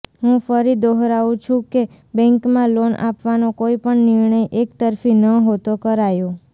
હું ફરી દોહરાવુ છું કે બૅંકમાં લોન આપવાનો કોઈ પણ નિર્ણય એકતરફી નહોતો કરાયો